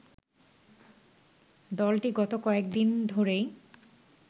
দলটি গত কয়েক দিন ধরেই